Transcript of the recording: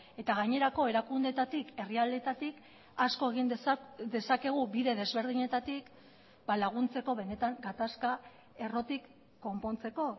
eta gainerako erakundeetatik herrialdeetatik asko egin dezakegu bide desberdinetatik laguntzeko benetan gatazka errotik konpontzeko